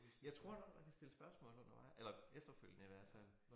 Jeg tror nok man kan stille spørgsmål undervejs eller efterfølgende i hvert fald